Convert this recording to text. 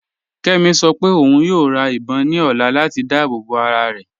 Kẹ́mí ṣọ́ pẹ ọ̀un yóò rá ìbọn ní ọ̀là latí dáàbòbọ arárẹ.